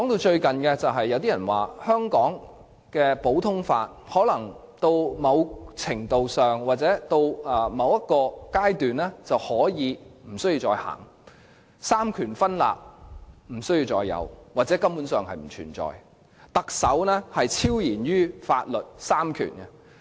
最近，有人說如果到了某個程度或階段，香港便可以不再實行普通法，亦不必再有三權分立甚或三權分立根本不存在，屆時特首將會超然於法律和三權。